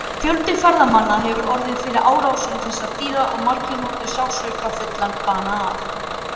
Fjöldi ferðamanna hefur orðið fyrir árásum þessara dýra og margir hlotið sársaukafullan bana af.